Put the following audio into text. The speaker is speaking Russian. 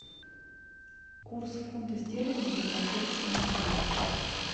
курс фунта стерлингов за прошедшую неделю